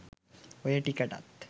ඔය ටිකටත්